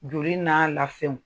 Joli n'a lafɛnw.